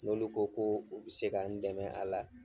N'olu ko koo u be se ka n dɛmɛ a la